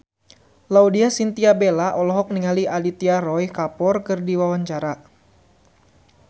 Laudya Chintya Bella olohok ningali Aditya Roy Kapoor keur diwawancara